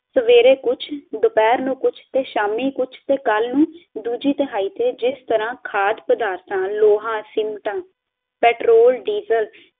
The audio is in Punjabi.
ਸਵੇਰੇ ਕੁੱਜ ਦਪੇਰ ਨੂੰ ਕੁੱਜ ਤੇ ਸ਼ਾਮੀ ਕੁੱਜ ਤੇ ਕੱਲ ਨੂੰ ਦੂਜੀ ਦਹਾਈ ਤੇ ਜਿਸ ਤਰਾਂ ਖਾਦ ਪਦਾਰਥਾਂ, ਲੋਹਾ, ਸਿਮਟਾ, ਪੈਟਰੋਲ, ਡੀਜ਼ਲ